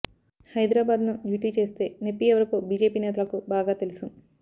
హైదరాబాద్ను యూటీ చేస్తే నొప్పి ఎవరికో బీజేపీ నేతలకు బాగా తెలుసు